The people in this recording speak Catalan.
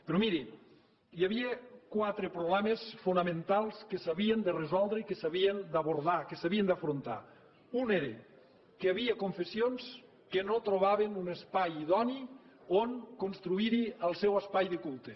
però miri hi havia quatre problemes fonamentals que s’havien de resoldre i que s’havien d’abordar que s’havien d’afrontar un era que hi havia confessions que no trobaven un espai idoni on construir el seu espai de culte